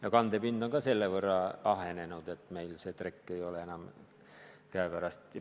Ala kandepind on seetõttu ahenenud, et meil seda trekki enam pole.